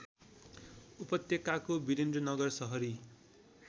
उपत्यकाको वीरेन्द्रनगर सहरी